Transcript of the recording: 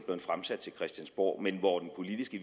fremsat til christiansborg men hvor den politiske